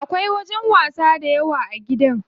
Akwai wajen wasa dayawa a gidan.